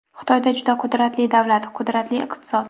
Xitoy juda qudratli davlat, qudratli iqtisod.